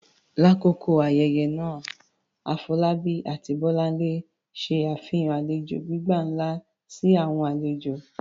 Lakoko ayẹyẹ naa, Afolabi ati Bolanle ṣe afihan alejo gbigba nla si awọn alejo.